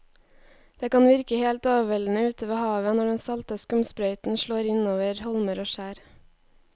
Det kan virke helt overveldende ute ved havet når den salte skumsprøyten slår innover holmer og skjær.